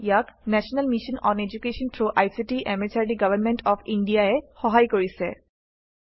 ইয়াক national mission on education through ICT MHRD government of India ই সহায় কৰিছে